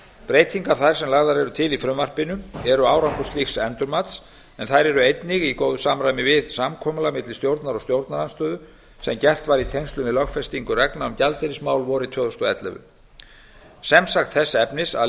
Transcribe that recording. breytingar þær sem lagðar eru til í frumvarpinu eru árangur slíks endurmats en þær eru einnig í góðu samræmi við samkomulag milli stjórnar og stjórnarandstöðu sem gert var í tengslum við lögfestingu reglna um gjaldeyrismál vorið tvö þúsund og ellefu sem sagt þess efnis að